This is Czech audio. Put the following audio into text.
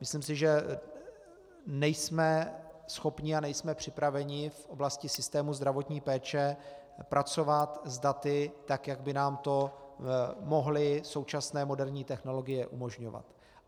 Myslím si, že nejsme schopni a nejsme připraveni v oblasti systému zdravotní péče pracovat s daty tak, jak by nám tam mohly současné moderní technologie umožňovat.